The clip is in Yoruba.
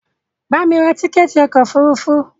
Bamí ra tíkẹ̀ẹ̀ti ọkò òfurufú!